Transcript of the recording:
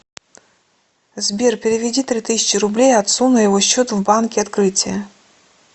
сбер переведи три тысячи рублей отцу на его счет в банке открытие